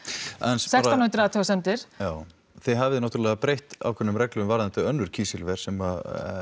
sextán hundruð athugasemdir já þið hafið náttúrulega breytt ákveðnum reglum varðandi önnur kísilver sem